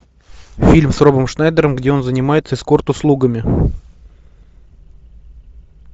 фильм с робом шнайдером где он занимается эскорт услугами